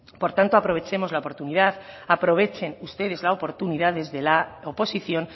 por tanto aprovechemos la oportunidad aprovechen ustedes la oportunidad desde la oposición